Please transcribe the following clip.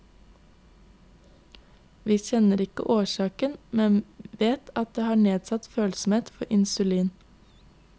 Vi kjenner ikke årsaken, men vet at de har nedsatt følsomhet for insulin.